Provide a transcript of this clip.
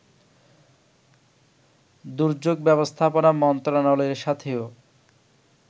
দুর্যোগ ব্যবস্থাপনা মন্ত্রনালয়ের সাথেও